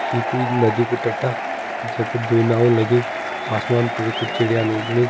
ये कोई नदी कु टट्टा जै पर दुइ नाओ लगीं आसमान पर कुछ चिड़याँ उड़नी।